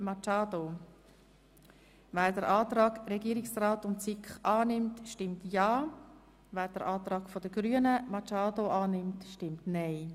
Wer den Antrag SiK und Regierungsrat annimmt, stimmt ja, wer den Antrag Grüne annimmt, stimmt nein.